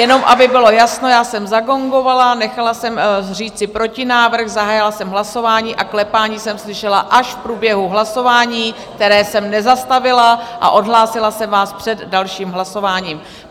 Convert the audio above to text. Jenom aby bylo jasno, já jsem zagongovala, nechala jsem říci protinávrh, zahájila jsem hlasování a klepání jsem slyšela až v průběhu hlasování, které jsem nezastavila, a odhlásila jsem vás před dalším hlasováním.